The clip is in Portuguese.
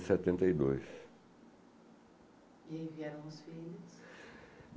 setenta e dois. E aí vieram os filhos?